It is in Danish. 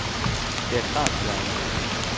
Det er klart, at jeg er nervøs.